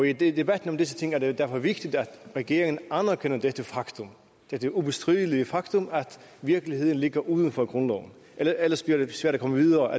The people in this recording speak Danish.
i debatten om disse ting er det derfor vigtigt at regeringen anerkender det det ubestridelige faktum at virkeligheden ligger uden for grundloven ellers bliver det svært at komme videre